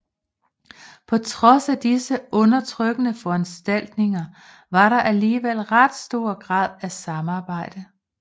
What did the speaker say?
På trods af disse undertrykkende foranstaltninger var der alligevel ret stor grad af samarbejde